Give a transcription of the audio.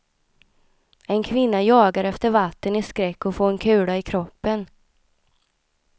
En kvinna jagar efter vatten i skräck att få en kula i kroppen.